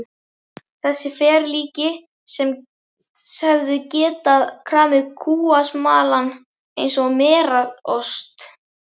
Þessi ferlíki sem hefðu getað kramið kúasmalann eins og merarost.